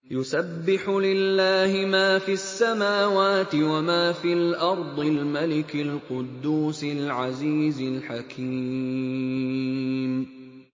يُسَبِّحُ لِلَّهِ مَا فِي السَّمَاوَاتِ وَمَا فِي الْأَرْضِ الْمَلِكِ الْقُدُّوسِ الْعَزِيزِ الْحَكِيمِ